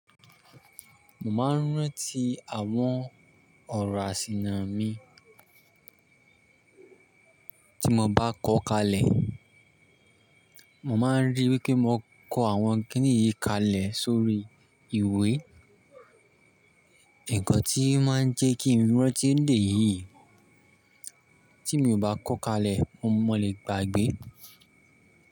Mo máa ń rántí àwọn ọ̀rọ̀ àsìnà mi. Tí mo bá kọ́ kalẹ̀. Mo máa ń ríi wípé mo kọ àwọn kiniyii kalẹ̀ sórí ìwé. Ǹkan tí máa ń jẹ́ kí i rántí lèyí, tí mi ò bá kọ́ kalẹ̀ mo lè gbàgbé.